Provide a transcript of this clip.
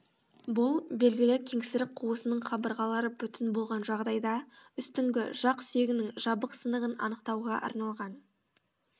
бұл белгілі кеңсірік қуысының қабырғалары бүтін болған жағдайда үстіңгі жақ сүйегінің жабық сынығын анықтауға арналған